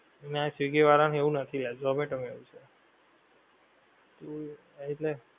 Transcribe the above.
નાં સ્વીગી વાળાં માં એવું નથી યાર ઝોમેટો માં એવું છે. હમ્મ હા એટલે